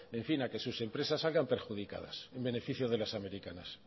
en fin a que sus empresas salgan perjudicadas en beneficio de las americanas